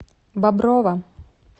боброва